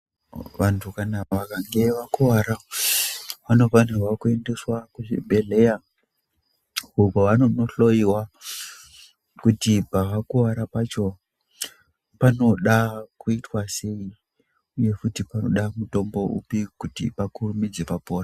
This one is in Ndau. Vanhu vakange vakuwara vanofanira kuendeswa kuzvibhedhlera uko vanonohloiwa kuti pavakuvara pacho panoda kuitwa sei uye panoda mutombo upi kuti pakurumidze papora.